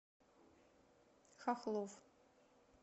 хохлов